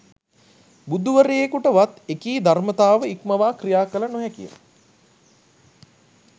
බුදුවරයකුට වත් එකී ධර්මතාව ඉක්මවා ක්‍රියා කළ නොහැකි ය.